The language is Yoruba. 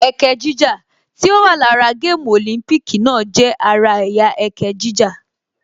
Ẹkẹ jíjà tí ó wà lára gáàmù Olympic náà jẹ́ ara ẹ̀yà ẹkẹ jíjà